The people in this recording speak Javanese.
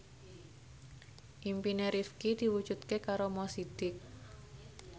impine Rifqi diwujudke karo Mo Sidik